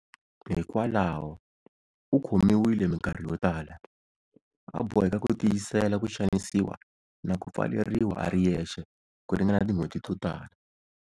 Hikwalaho, u khomiwile minkarhi yo tala, a boheka ku tiyisela ku xanisiwa ni ku pfaleriwa a ri yexe ku ringana tin'hweti to tala.